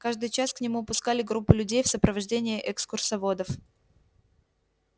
каждый час к нему пускали группу людей в сопровождении экскурсоводов